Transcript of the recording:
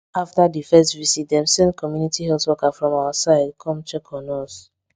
after the first visit dem send community health worker from our side come check on us